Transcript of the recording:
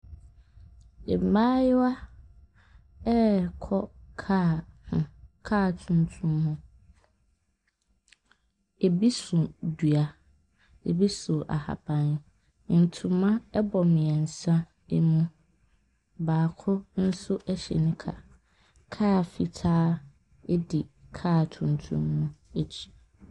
Mmaayewa rekɔ kaa ho kaa tuntum ho. Ebi so dua, ebi so ahaban. Ntoma bɔ mmiɛnsa mu, baako nso hyɛ nika. Kaa fitaaa di kaa tuntum no akyi.